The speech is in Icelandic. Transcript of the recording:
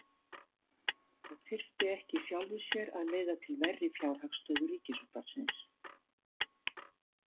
Það þyrfti ekki í sjálfu sér að leiða til verri fjárhagsstöðu Ríkisútvarpsins.